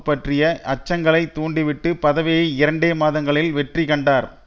பற்றிய அச்சங்களை தூண்டிவிட்டு பதவியை இரண்டே மாதங்களில் வெற்றி கண்டார்